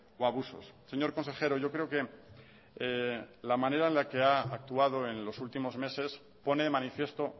o abusos señor consejero yo creo que la manera en la que ha actuado en los últimos meses pone de manifiesto